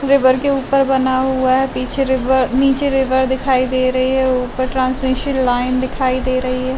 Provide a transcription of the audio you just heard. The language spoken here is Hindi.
रिवर के ऊपर बना हुआ है। पीछे रिवर नीचे रिवर दिखाई दे रही है और ऊपर ट्रांस्मिसन लाइन दिखाई दे रही है।